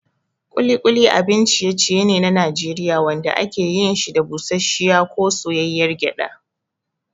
Ƙuli ƙuli abin ciye-ciye ne na Najeriya wanda ake yin shi da busasshiyar ko soyayyar gyada.